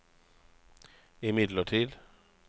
imidlertid